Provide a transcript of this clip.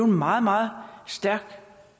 meget meget stærkt